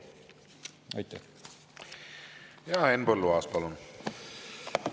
Henn Põlluaas, palun!